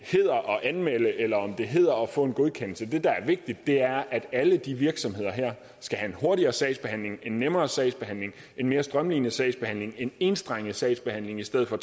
anmelde eller om det hedder at få en godkendelse det der er vigtigt er at alle de virksomheder her skal have en hurtigere sagsbehandling en nemmere sagsbehandling en mere strømlinet sagsbehandling en enstrenget sagsbehandling i stedet for